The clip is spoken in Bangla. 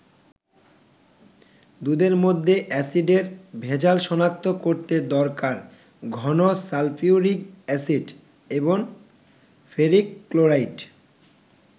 দুধের মধ্যে অ্যাসিডের ভেজাল শনাক্ত করতে দরকার ঘন সালফিউরিক অ্যাসিড এবং ফেরিক ক্লোরাইড।